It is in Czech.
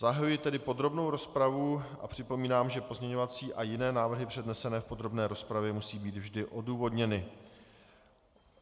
Zahajuji tedy podrobnou rozpravu a připomínám, že pozměňovací a jiné návrhy přednesené v podrobné rozpravě musí být vždy odůvodněny.